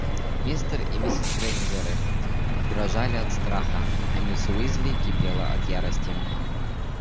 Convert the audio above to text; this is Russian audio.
мистер и миссис грэйнджеры дрожали от страха а миссис уизли кипела от ярости